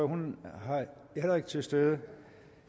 hun er heller ikke til stede